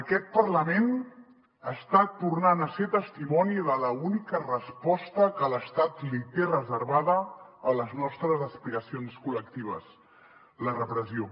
aquest parlament està tornant a ser testimoni de l’única resposta que l’estat li té reservada a les nostres aspiracions col·lectives la repressió